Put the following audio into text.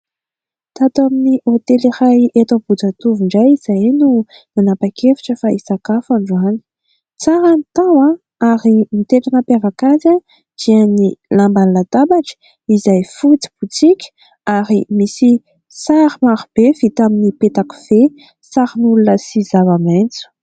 Tato amin'ny hotely iray eto Ambohijatovo indray izahay no nanapa-kevitra fa hisakafo androany. Tsara ny tao ary ny tena nampiavaka azy dia ny lamban'ny latabatra izay fotsy botsika ary misy sary marobe vita tamin'ny peta-kofehy, sarin'olona sy zava-maitso.